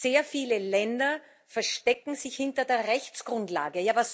Sehr viele Länder verstecken sich hinter der Rechtsgrundlage.